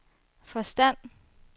forstand